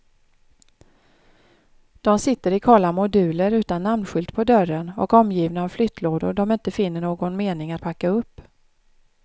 De sitter i kala moduler utan namnskylt på dörren och omgivna av flyttlådor de inte finner någon mening att packa upp.